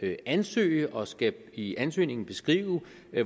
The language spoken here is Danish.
ansøge og skal i ansøgningen beskrive